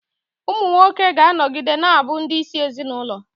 Ụmụ nwoke ga-anọgide na-abụ ndị isi ezinụlọ.